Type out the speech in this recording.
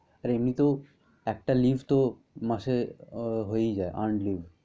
আর এমনিতেও একটা leave তো মাসে হয়েই যায় earned leave ।